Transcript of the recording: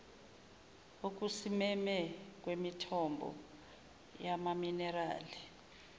okusimeme kwemithombo yamaminerali